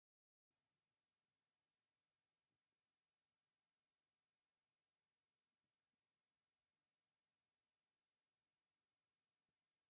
ኣርባዕተ እግሪ ዘለዎ ተሽከርካሪ ብዙሕ ናይ መጋየፂ ንብረት ሒዙ ኣሎ ንኣብነት ስዓት ን መንፀር ዝሓዘ እንትኮን ዋጋ ናይ ሓደ መንፀር ክንደይ እዩ ?